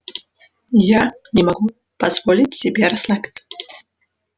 я не могу позволить себе расслабиться